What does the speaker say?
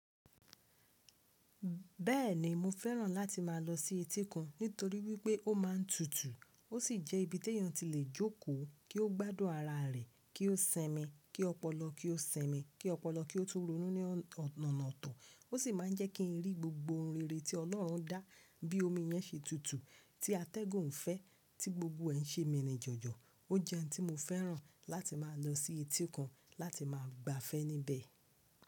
Bẹ́ẹ̀ni mo fẹ́ràn láti má a lọ sí etí kun nítorí wípé ó má a ń tutù ó sì jẹ́ ibi tí èèyàn ti lè jókòó kí ó gbádùn ara rẹ̀, kí ó simi kí ó pọlọ kí ó simi kí ó pọlọ kí ó tún ronú ní ọ̀nà ọ̀tọ̀, ó sì má a ń jẹ́ kí n rí gbogbo ohun rere tí Ọlọ́run dá bí omi yẹn ṣe tutù, tí atẹ́gùn fẹ́, tí gbogbo ẹ̀ ń ṣe mìírinjọjọ. Ó jẹ́ ohun tí mo fẹ́ràn láti má a lọ sí etí kun láti má a gbafẹ́ níbẹ̀